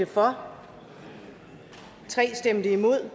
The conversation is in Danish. for eller imod